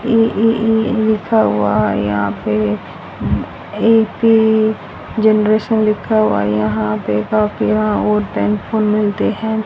ली ली ली लिखा हुआ है यहां पे एक जनरेशन लिखा हुआ है यहां पे-- मिलते है।